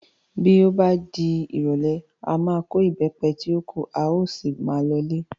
Bí ó bá di ìrọ̀lẹ́, a máa kó Ìbẹ́pẹ tí ó kù, a ó sì máa lọ ilé.